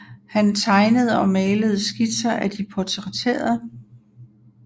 Han tegnede og malede skitser af de portrætterede